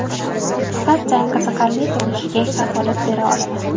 Faqat jang qiziqarli bo‘lishiga kafolat bera olaman.